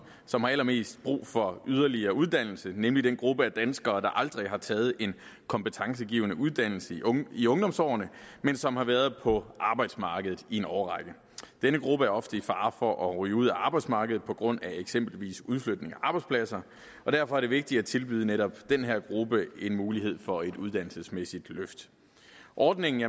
som har allermest brug for yderligere uddannelse nemlig den gruppe af danskere der aldrig har taget en kompetencegivende uddannelse i ungdomsårene men som har været på arbejdsmarkedet i en årrække denne gruppe er ofte i fare for at ryge ud af arbejdsmarkedet på grund af eksempelvis udflytning af arbejdspladser og derfor er det vigtigt at tilbyde netop den her gruppe en mulighed for et uddannelsesmæssigt løft ordningen